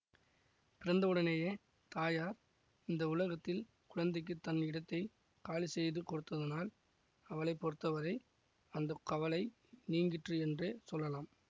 பிறந்தவுடனேயே தாயார் இந்த உலகத்தில் குழந்தைக்குத் தன் இடத்தை காலிசெய்து கொடுத்ததினால் அவளை பொறுத்தவரை அந்த கவலை நீங்கிற்று என்றே சொல்லலாம்